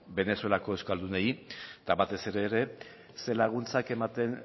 venezuelako euskaldunei eta batez ere ere zer laguntzak ematen